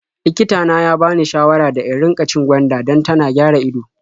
Likita na ya bani shawara da in riƙa cin gwanda dan tana gyara ido.